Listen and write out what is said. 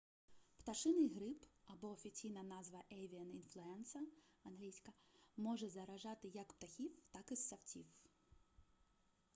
пташиний грип або офіційна назва avian influenza англ. може заражати як птахів так і ссавців